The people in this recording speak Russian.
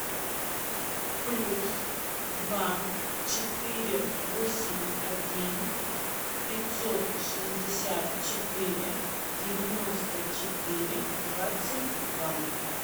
плюс два четыре восемь один пятьсот шестьдесят четыре девяносто четыре двадцать два